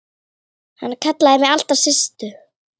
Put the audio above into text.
Hann kallaði mig alltaf Systu.